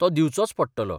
तो दिवचोच पडटलो.